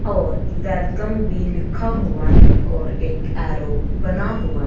और वेलकम भी लिखा हुआ है और एक ऐरो बना हुआ--